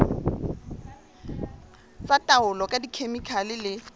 tsa taolo ka dikhemikhale le